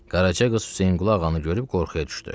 Qaraca qız Hüseynqulu ağanı görüb qorxuya düşdü.